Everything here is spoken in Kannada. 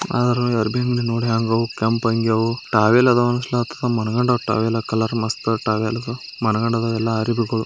ಆರ್ವಿ ಅಂಗಡಿ ನೋಡ್ಯಾನ್ಗ್ ಅವು ಕೆಂಪ್ ಅಂಗಿ ಅವು ಟವೆಲ್ ಆದವು